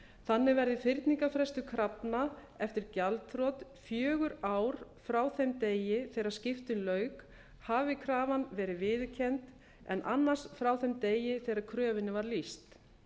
þannig verði fyrningarfrestur krafna eftir gjaldþrot fjögur ár frá þeim degi þegar skiptum lauk hafi krafan verið viðurkennd en annars frá þeim degi þegar kröfunni var lýst